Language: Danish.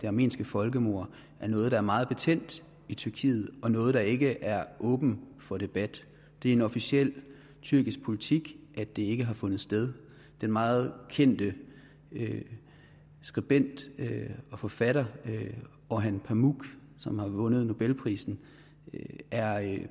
armenske folkemord er noget der er meget betændt i tyrkiet og noget der ikke er åbent for debat det er officiel tyrkisk politik at det ikke har fundet sted den meget kendte skribent og forfatter orhan pamuk som har vundet nobelprisen er